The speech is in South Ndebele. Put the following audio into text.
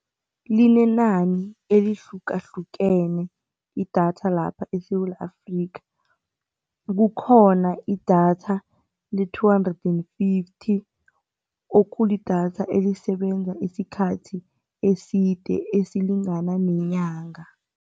Linenani elihlukahlukene idatha lapha eSewula Afrika. Kukhona idatha le-two hundred then fifty okulidatha elisebenza isikhathi eside esilingana nenyanga.